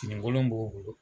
Finikolon b'o bolo